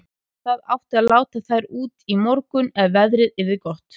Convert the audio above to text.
Það átti að láta þær út á morgun ef veðrið yrði gott.